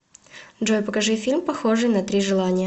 джой покажи фильм похожии на три желания